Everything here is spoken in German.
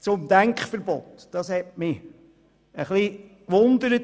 Zum Denkverbot: Das Argument hat mich ein wenig erstaunt.